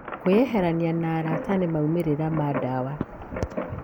Kwĩyeheria na arata nĩ maumĩrĩra ma ndawa.